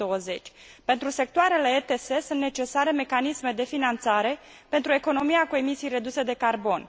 2020. Pentru sectoarele ETS sunt necesare mecanisme de finanțare pentru economia cu emisii reduse de carbon.